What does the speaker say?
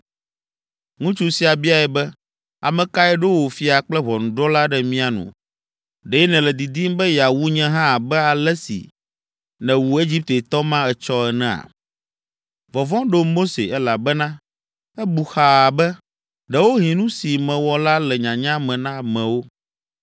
Ŋutsu sia biae be, “Ame kae ɖo wò fia kple ʋɔnudrɔ̃la ɖe mía nu? Ɖe nèle didim be yeawu nye hã abe ale si nèwu Egiptetɔ ma etsɔ enea?” Vɔvɔ̃ ɖo Mose, elabena ebu xaa be, “Ɖewohĩ nu si mewɔ la le nyanya me na amewo.”